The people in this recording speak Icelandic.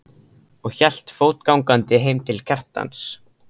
og hélt fótgangandi heim til Kjartans.